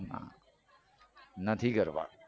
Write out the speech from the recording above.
ના નથી કરવા